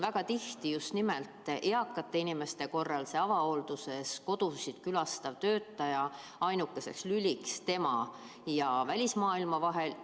Väga tihti on just nimelt eakate inimeste puhul see avahoolduse raames kodusid külastav sotsiaaltöötaja ainukeseks lüliks eaka ja välismaailma vahel.